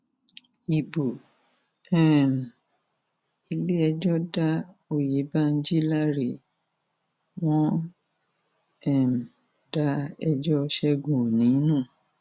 ibo um iléẹjọ da ọyẹbíjí láre wọn um da ẹjọ ṣẹgun òní nù